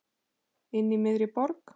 Inní miðri borg.